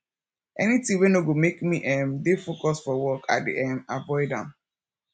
anytin wey no go mek me um dey focus for work i dey um avoid am